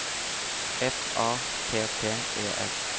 F A T T E S